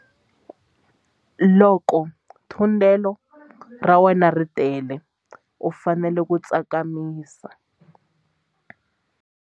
Loko thundelo ra wena ri tele u fanele ku tsakamisa.